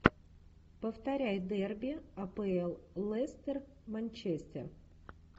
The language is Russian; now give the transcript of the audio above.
повторяй дерби апл лестер манчестер